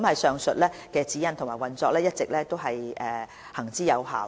上述的指引和運作模式一直行之有效。